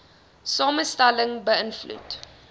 samestelling be ïnvloed